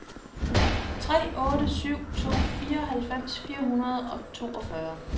tre otte syv to fireoghalvfems fire hundrede og toogfyrre